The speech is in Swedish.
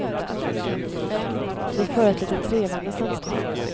Vi för ett lite trevande samtal.